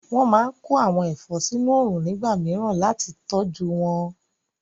Wọ́n máa kó àwọn ẹ̀fọ́ sínu òrùn nígbà mìíràn láti tọjú wọn